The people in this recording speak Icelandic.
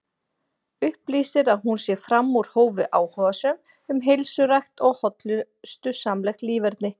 Upplýsir að hún sé fram úr hófi áhugasöm um heilsurækt og hollustusamlegt líferni.